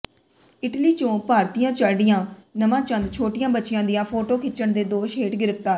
Italy ਚੋ ਭਾਰਤੀਆ ਚਾੜ੍ਹਿਆ ਨਵਾਂ ਚੰਦ ਛੋਟੀਆ ਬੱਚੀਆ ਦੀਆਂ ਫੋਟੋ ਖਿੱਚਣ ਦੇ ਦੋਸ਼ ਹੇਠ ਗ੍ਰਿਫਤਾਰ